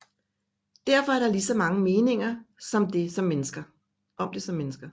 Derfor er der ligeså mange meninger om det som mennesker